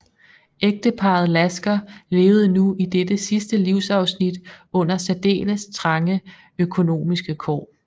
Ægteparret Lasker levede nu i dette sidste livsafsnit under særdeles trange økonomiske kår